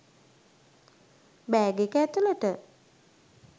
bag එක ඇතුලට